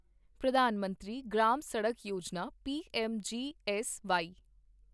ਪ੍ਰਧਾਨ ਮੰਤਰੀ ਗ੍ਰਾਮ ਸੜਕ ਯੋਜਨਾ ਪੀਐਮਜੀਐਸਵਾਈ